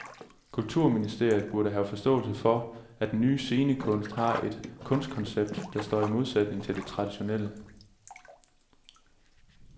Kulturministeriet burde have forståelse for, at den nye scenekunst har et kunstkoncept der står i modsætning til det traditionelle.